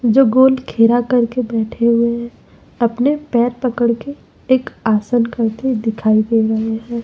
जो गोल घेरा करके बैठे हुए है अपने पैर पकड़ के एक आसन करते दिखाई दे रहे हैं।